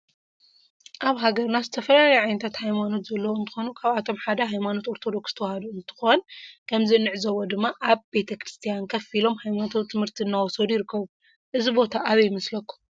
አብ ሃገርና ዝትፈላለዩ ዓይነታተ ሃይማኖት ዘለዎ እንትኮኑ ካብአቶም ሓደ ሃይማኖት አርቶዶክስ ተዋህዶ እንትኮኑ ከምዚ እንዕዘቦ ድማ አብ ቤተ ክርስትያን ከፍ ኢሎም ሃይማኖታዊ ትምህርቲ እናወሰዱ ይርከቡ እዚ ቦታ አበይ ይመስለኩም?